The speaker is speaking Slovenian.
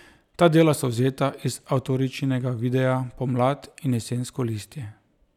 Ta dela so vzeta iz avtoričinega videa Pomlad in jesensko listje.